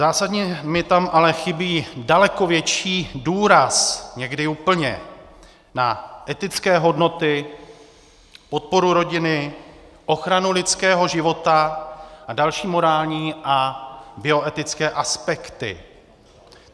Zásadně mi tam ale chybí daleko větší důraz, někdy úplně, na etické hodnoty, podporu rodiny, ochranu lidského života a další morální a bioetické aspekty.